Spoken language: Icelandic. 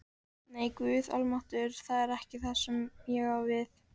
Nei, Guð almáttugur, það er ekki það sem ég á við